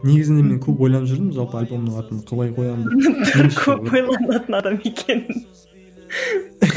негізінде мен көп ойланып жүрдім жалпы альбомның атын қалай қоямын көп ойланатын адам екен